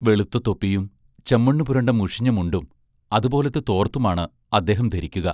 വെളുത്ത തൊപ്പിയും ചെമ്മണ്ണു പുരണ്ട മുഷിഞ്ഞ മുണ്ടും, അതുപോലത്തെ തോർത്തുമാണ് അദ്ദേഹം ധരിക്കുക.